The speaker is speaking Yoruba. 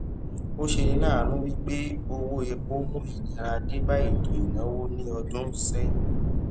ọ ṣe ni láànú wípé owó epo mú ìnira denba eto ìnáwó ní ọdún sẹyin